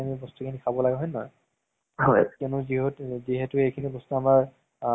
ধৰা উম যদি আমি আজিৰ পৰা দশ বছৰ আগৰ যদি কিবা এটা movies চাওঁ ন,